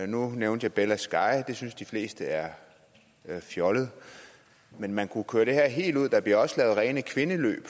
nu nævnte jeg bella sky det synes de fleste er fjollet men man kunne jo køre det her helt ud der bliver også lavet rene kvindeløb